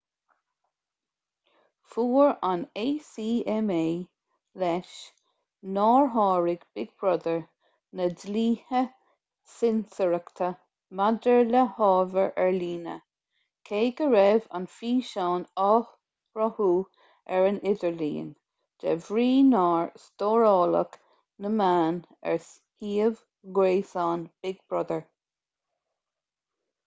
fuair an acma leis nár sháraigh big brother na dlíthe cinsireachta maidir le hábhar ar líne cé go raibh an físeán á shruthú ar an idirlíon de bhrí nár stóráladh na meáin ar shuíomh gréasáin big brother